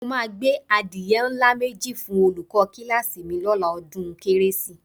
Mo máa gbé adìye ńlá méjì fún olùkọ́ kíláàsì mi lọ́la ọdún kérésì